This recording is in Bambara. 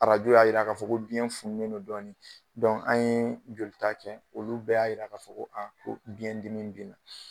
Arajo y'a yira k'a fɔ ko biyɛn fununnen don dɔɔnin. an yee jolita kɛ, olu bɛɛ y'a yira k'a fɔ ko ko biyɛn dimi be na.